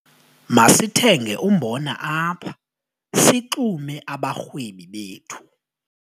Masithenge umbona apha sixume abarhwebi bethu.